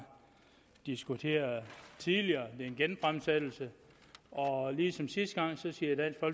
diskuteret tidligere det er en genfremsættelse og ligesom sidste gang siger